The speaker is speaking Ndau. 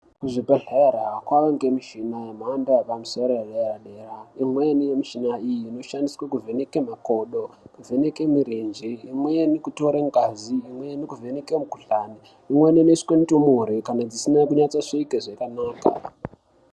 Kuzvibhedhlera kwange mishina yemhando yepamusoro edera dera imweni yemishina iyi inoshandiswe kuvheneke makodo kuvheneke murenje imweni kutore ngazi imweni kuvheneke mukhuhlani imweni inoswe ndumure kana dzisine kusvike zvakanaka.